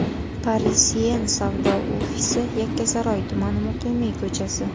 Parisien savdo ofisi: Yakkasaroy tumani, Muqimiy ko‘chasi.